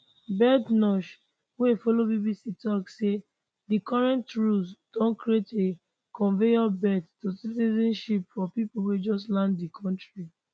badenoch wey follow bbc tok say di current rules don create a conveyor belt to citizenship for pipo wey just land di kontri